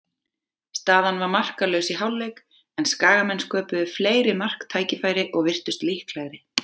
Staðan var markalaus í hálfleik, en Skagamenn sköpuðu fleiri marktækifæri og virtust líklegri.